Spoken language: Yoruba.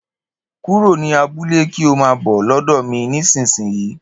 kúrò ní abúlé kí ọ maa bọ̀ lódò mí nísìsiyìí